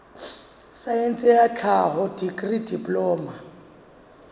saense ya tlhaho dikri diploma